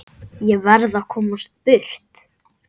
Ég verð að komast burt.